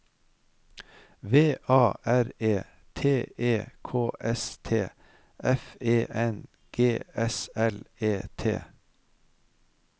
V A R E T E K T S F E N G S L E T